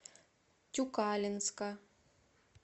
тюкалинска